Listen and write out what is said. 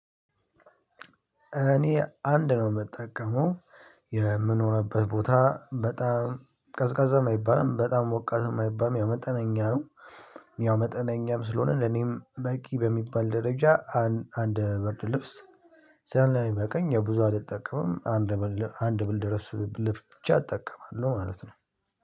እኔ አንድ ነው የምጠቀመው። የምንሆንበት ቦታ በጣም ቀዝቃዛ የማይባልም በጣም ሞቃት የማይባልም ያው መጠነኛ ነው። ያው መጠነኛም ስለሆነ ለኔም በቂ በሚባል ደረጃ አንድ ብርድ ልብስ ስለሚበቃኝ የብዙ አልጠቀምም። አንድ ብርድ ልብስ ብቻ እጠቀማለሁ ማለት ነው።